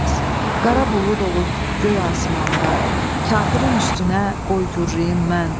Qarabulud olub göy asimanda kafirin üstünə qoy gurrulayım mən.